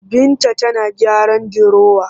Binta tana gyaran dirowa